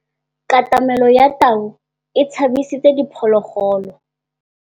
Katamêlô ya tau e tshabisitse diphôlôgôlô.